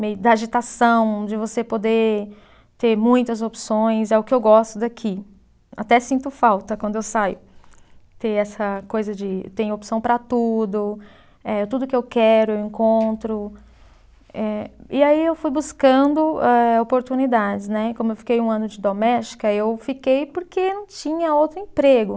Meio da agitação de você poder ter muitas opções é o que eu gosto daqui, até sinto falta quando eu saio, ter essa coisa de, tem opção para tudo, eh tudo que eu quero encontro, eh e aí eu fui buscando a oportunidades né, como eu fiquei um ano de doméstica eu fiquei porque não tinha outro emprego